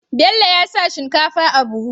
Bello ya sa shinkafa a buhu